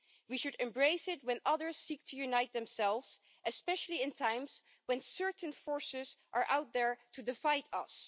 We should embrace it when others seek to unite themselves, especially in times when certain forces are out there to defeat us.